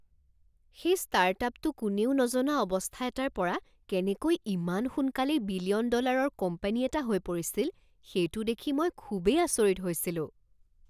সেই ষ্টাৰ্টআপটো কোনেও নজনা অৱস্থা এটাৰ পৰা কেনেকৈ ইমান সোনকালেই বিলিয়ন ডলাৰৰ কোম্পানী এটা হৈ পৰিছিল সেইটো দেখি মই খুবেই আচৰিত হৈছিলোঁ।